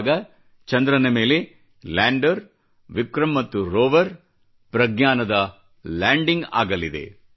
ಆಗ ಚಂದ್ರನ ಮೇಲೆ ಲ್ಯಾಂಡರ್ ವಿಕ್ರ್ರಮ್ ಮತ್ತು ರೋವರ್ ಪ್ರಜ್ಞಾನದ ಲ್ಯಾಂಡಿಂಗ್ ಆಗಲಿದೆ